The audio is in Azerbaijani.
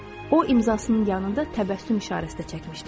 O imzasının yanında təbəssüm işarəsi də çəkmişdi.